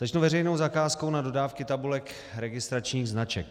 Začnu veřejnou zakázkou na dodávky tabulek registračních značek.